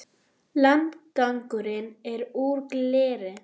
Landgangurinn er úr gleri.